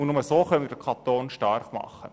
Nur so können wir den Kanton stark machen.